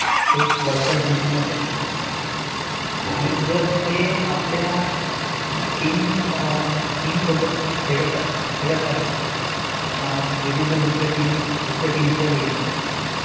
ते World cup जिंकण्यासाठी, आणि जर ते, टीम सोबत खेळत आहेत, दुसऱ्या टीमच्या विरुद्ध